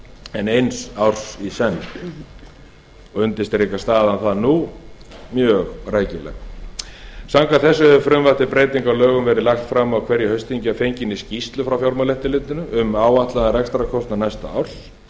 en eins árs í senn og undirstrikar staðan það nú mjög rækilega samkvæmt þessu hefur frumvarp til breytinga á þessum lögum verið lagt fram á hverju haustþingi að fenginni skýrslu fjármálaeftirlitsins um áætlaðan rekstrarkostnað næsta árs